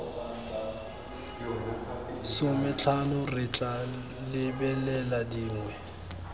sometlhano re tla lebelela dingwe